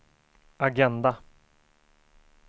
agenda